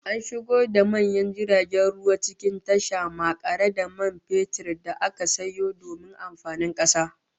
An shigo da manyan jiragen ruwa cikin tasha makare da man fetur da aka sayo domin amfanin kasa